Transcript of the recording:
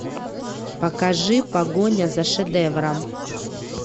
покажи погоня за шедевром